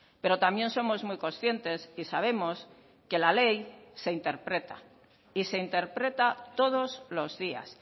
pero también somos muy conscientes y sabemos que la ley se interpreta y se interpreta todos los días